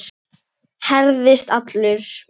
Herðist allur.